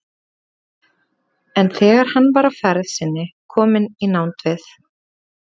En þegar hann var á ferð sinni kominn í nánd við